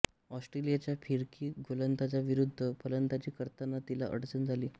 ऑस्ट्रेलियाच्या फिरकी गोलंदाजीविरूद्ध फलंदाजी करताना तिला अडचण झाली